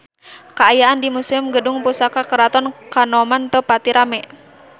Kaayaan di Museum Gedung Pusaka Keraton Kanoman teu pati rame